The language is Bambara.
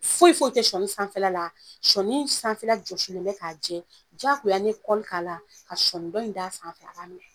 Foyi foyi tɛ sɔni sanfɛla la ,sɔni sanfɛla jɔsilen bɛ k'a jɛ, jagoya ni ye k'a la , ka sɔni dɔ in d'a sanfɛ, a b'a minɛ.